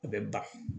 A bɛ ban